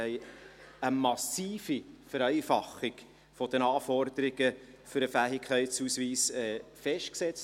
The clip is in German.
Wir haben in der Verordnung eine massive Vereinfachung der Anforderungen für den Fähigkeitsausweis festgesetzt.